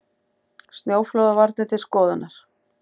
Snjóflóðavarnir til skoðunar